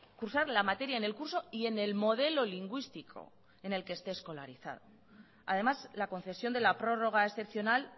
cursar la materia en el curso y en el modelo lingüístico en el que esté escolarizado además la concesión de la prórroga excepcional